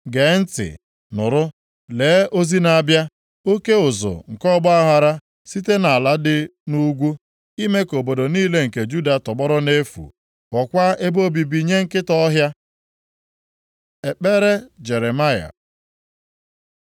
Gee ntị, nụrụ! Lee ozi na-abịa, oke ụzụ nke ọgbaaghara site nʼala dị nʼugwu, ime ka obodo niile nke Juda tọgbọrọ nʼefu, ghọọkwa ebe obibi nye nkịta ọhịa. Ekpere Jeremaya